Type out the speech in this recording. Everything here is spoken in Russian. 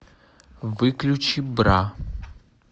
выключи бра